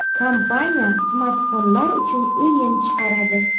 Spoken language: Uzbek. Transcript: Kompaniya smartfonlar uchun o‘yin chiqaradi.